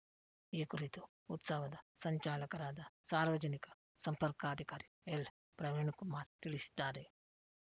ಈ ಕುರಿತು ಉತ್ಸವದ ಸಂಚಾಲಕರಾದ ಸಾರ್ವಜನಿಕ ಸಂಪರ್ಕಾಧಿಕಾರಿ ಎಲ್‌ ಪ್ರವೀಣ್‌ಕುಮಾರ್‌ ತಿಳಿಸಿದ್ದಾರೆ